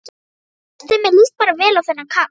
Veistu, mér líst bara vel á þennan kall.